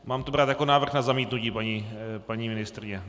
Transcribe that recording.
Mám to brát jako návrh na zamítnutí, paní ministryně?